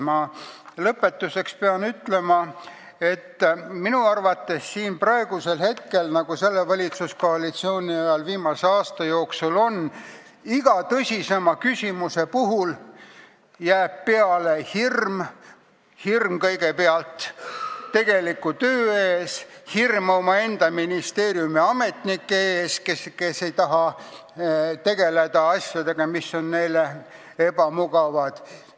Ma pean lõpetuseks ütlema, et minu arvates jääb siin praegu peale hirm, nii nagu viimase aasta jooksul, selle valitsuskoalitsiooni ajal on olnud iga tõsisema küsimuse puhul – hirm tegeliku töö ees ja hirm omaenda ministeeriumi ametnike ees, kes ei taha tegeleda asjadega, mis on neile ebamugavad.